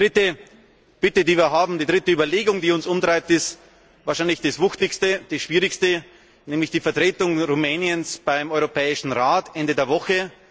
Die dritte Bitte, die wir haben, die dritte Überlegung, die uns umtreibt, ist wahrscheinlich das Wuchtigste, das Schwierigste, nämlich die Vertretung Rumäniens beim Europäischen Rat Ende der Woche.